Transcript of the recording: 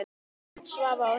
Björn, Svava og Hildur.